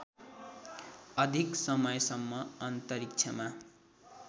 अधिक समयसम्म अन्तरिक्षमा